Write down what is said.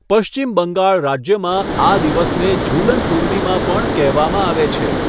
પશ્ચિમ બંગાળ રાજ્યમાં, આ દિવસને ઝુલન પૂર્ણિમા પણ કહેવામાં આવે છે.